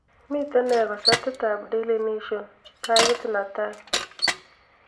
miten nee kosetit ab daily nation pagit natai